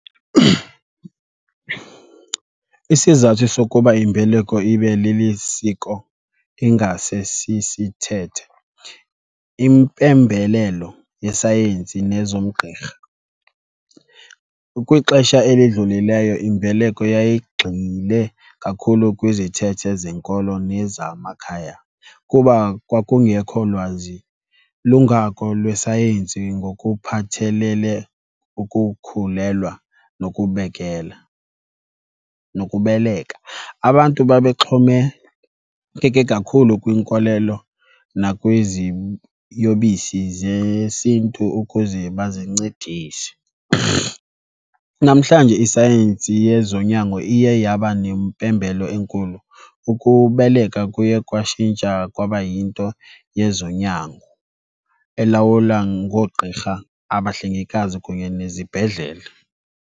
Isizathu sokuba imbeleko ibe lilisiko ingasesisithethe, impembelelo yesayensi nezomgqirha. Kwixesha elidlulileyo imbeleko yayigxile kakhulu kwizithethe zenkolo nezamakhaya kuba kwakungekho lwazi lungako lwesayensi ngokuphathelele ukukhulelwa nokubekela, nokubeleka. Abantu babexhomekeke kakhulu kwinkolelo nakwiziyobisi zesiNtu ukuze bazincedise. Namhlanje isayensi yezonyango iye yaba nempembelo enkulu, ukubeleka kuye kwatshintsha kwaba yinto yezonyango elawula ngoogqirha, abahlengikazi kunye nezibhedlele.